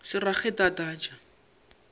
se rage e tla tlatša